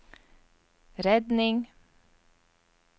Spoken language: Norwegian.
redning